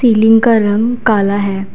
Ceiling का रंग काला है।